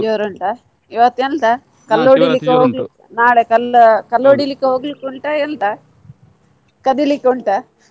ಜೋರು ಉಂಟಾ ಇವತ್ತು ಎಂಥ ಕಲ್ಲು ಹೊಡಿಲಿಕ್ಕೆ ನಾಳೆ ಕಲ್ಲು ಹೊಡೆಲಿಕ್ಕೆ ಹೋಗ್ಲಿಕ್ಕೆ ಉಂಟಾ ಎಂತ ಕದಿಲಿಕ್ಕೆ ಉಂಟಾ?